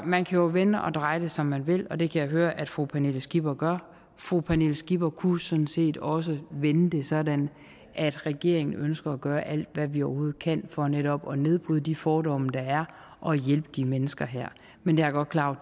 man kan jo vende og dreje det som man vil og det kan jeg høre at fru pernille skipper gør fru pernille skipper kunne sådan set også vende det sådan at regeringen ønsker at gøre alt hvad vi overhovedet kan for netop at nedbryde de fordomme der er og hjælpe de her mennesker men jeg er godt klar over